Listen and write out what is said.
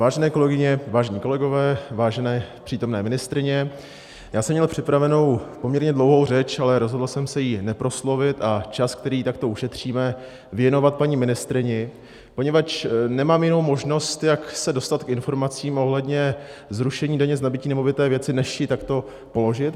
Vážené kolegyně, vážení kolegové, vážené přítomné ministryně, já jsem měl připravenou poměrně dlouhou řeč, ale rozhodl jsem se ji neproslovit a čas, který takto ušetříme, věnovat paní ministryni, poněvadž nemám jinou možnost, jak se dostat k informaci ohledně zrušení daně z nabytí nemovité věci, než ji takto položit.